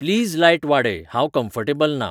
please light वाडय हांव comfortable ना